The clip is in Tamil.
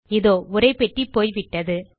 இதோ உரைப்பெட்டி போய்விட்டது